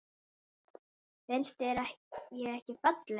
Finnst þér ég ekki falleg?